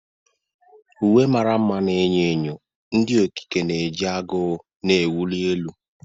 Uwe mara mma na enyo enyo, ndị okike na-eji agụụ na-ewuli elu.